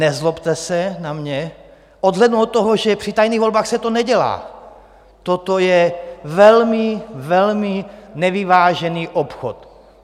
Nezlobte se na mě - odhlédnu od toho, že při tajných volbách se to nedělá - toto je velmi, velmi nevyvážený obchod.